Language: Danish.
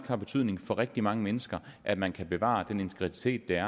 har betydning for rigtig mange mennesker at man kan bevare den integritet der